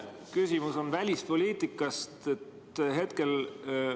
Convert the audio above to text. Küsimus on välispoliitika kohta.